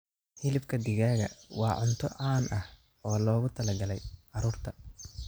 Hilibka digaaga waa cunto caan ah oo loogu talagalay carruurta.